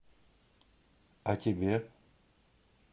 а тебе